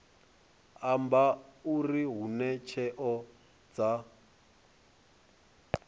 amba uri hune tsheo dza